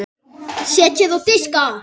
Setjið á diska.